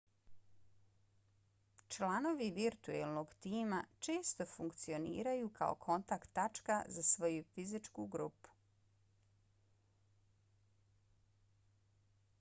članovi virtuelnog tima često funkcioniraju kao kontakt tačka za svoju fizičke grupe